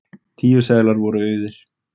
Tíu seðlar voru auðir.